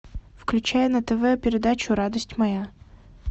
включай на тв передачу радость моя